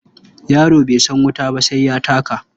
Yaro bai san wuta ba sai ya taka.